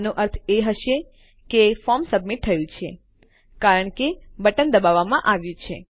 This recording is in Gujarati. આનો અર્થ એ હશે કે ફોર્મ સબમિટ થયું છે કારણ કે બટન દબાવવામાં આવ્યું છે